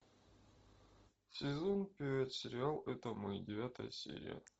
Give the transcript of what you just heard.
сезон пять сериал это мы девятая серия